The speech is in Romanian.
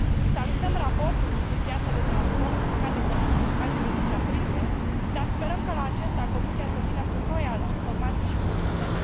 Salutăm raportul privind piața de transport publicat de Comisie în 14 aprilie, dar sperăm că la acesta Comisia să vină cu noi informații și propuneri.